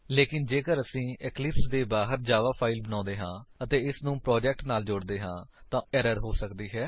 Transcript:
ਲੇਕਿਨ ਜੇਕਰ ਅਸੀ ਇਕਲਿਪਸ ਦੇ ਬਾਹਰ ਜਾਵਾ ਫਾਇਲ ਨੂੰ ਬਣਾਉਂਦੇ ਹਾਂ ਅਤੇ ਇਸਨੂੰ ਪ੍ਰੋਜੇਕਟ ਨਾਲ ਜੋੜਦੇ ਹਾਂ ਤਾਂ ਉਸ ਵਿੱਚ ਏਰਰ ਹੋ ਸਕਦੀ ਹੈ